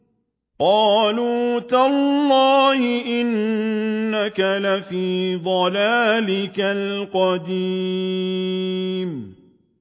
قَالُوا تَاللَّهِ إِنَّكَ لَفِي ضَلَالِكَ الْقَدِيمِ